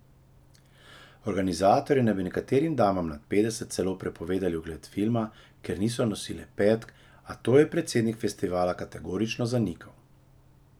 Organizatorji naj bi nekaterim damam nad petdeset celo prepovedali ogled filma, ker niso nosile petk, a to je predsednik festivala kategorično zanikal.